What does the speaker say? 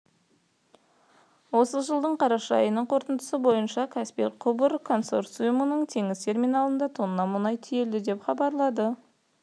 осы жылдың қараша айының қорытындысы бойынша каспий құбыр консорциумының теңіз терминалында тонна мұнай тиелді деп хабарлады